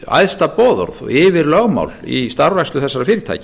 æðsta boðorð og yfirlögmál í starfrækslu þessara fyrirtækja